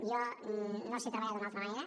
jo no sé treballar d’una altra manera